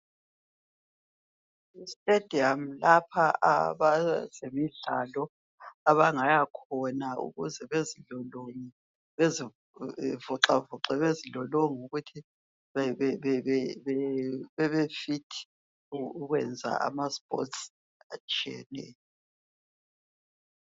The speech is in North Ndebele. Istadium lapha abezemidlalo Abangaya khona ukuze bezilolonge bezivoxavoxe bezilolonga ukuthi bebefithi ukwenza ama sports atshiyeneyo